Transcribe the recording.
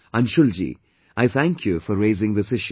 Anshul ji, I thank you for raising this issue